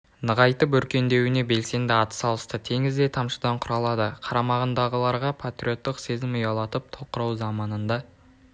нығайтып өркендеуіне белсенді ат салысты теңіз де тамшыдан құралады қарамағындағыларға патриоттық сезім ұялатып тоқырау заманында